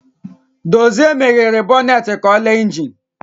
Dozie meghere bọnet ka ịle injin.